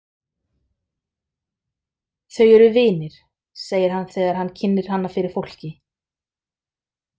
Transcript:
Þau eru vinir, segir hann þegar hann kynnir hana fyrir fólki.